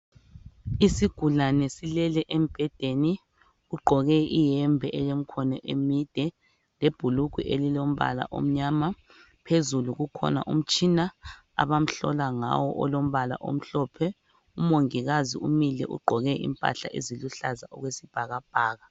Isigulane silele embhedeni ugqoke iyembe elemkhono emide lebhulugwe elilombala omnyama. Phezulu kukhona umtshina abamhlola ngawo olombala omhlophe. Umongikazi umile ugqoke impahla eziluhlaza okwesibhakabhaka.